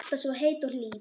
Alltaf svo heit og hlý.